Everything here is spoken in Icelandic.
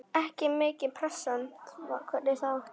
Ekki mikil pressa, hvernig þá?